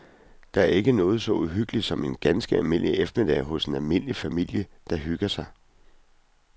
Der er ikke noget så uhyggeligt som en ganske almindelig eftermiddag hos en almindelig familie, der hygger sig.